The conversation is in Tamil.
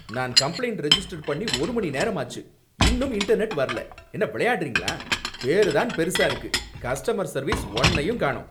நான் கம்ப்ளைன்ட ரிஜிஸ்டர் பண்ணி ஒரு மணி நேரம் ஆச்சு. இன்னும் இன்டர்நெட் வரல, என்ன விளையாடுறீங்களா? பேரு தான் பெருசா இருக்கு கஸ்டமர் சர்வீஸ் ஒன்னையும் காணோம்.